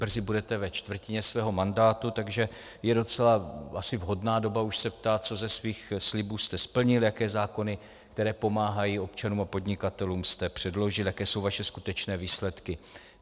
Brzy budete ve čtvrtině svého mandátu, takže je docela asi vhodná doba už se ptát, co ze svých slibů jste splnil, jaké zákony, které pomáhají občanům a podnikatelům, jste předložil, jaké jsou vaše skutečné výsledky.